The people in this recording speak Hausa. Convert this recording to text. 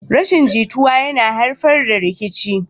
Rashin jituwa yana haifar da rikici